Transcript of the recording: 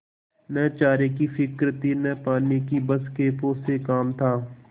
न चारे की फिक्र थी न पानी की बस खेपों से काम था